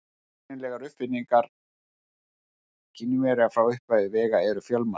Tæknilegar uppfinningar Kínverja frá upphafi vega eru fjölmargar.